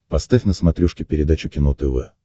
поставь на смотрешке передачу кино тв